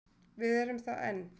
Við erum það enn.